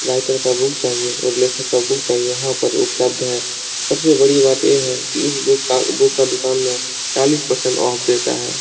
Writer का book चाहिए और लेखक बुक चाहिए यहाँ पर उपलब्ध है। सब से बड़ी बात ये हैकी इस बुक का बुक का दुकान में चालीस परसेंट ऑफ देता है।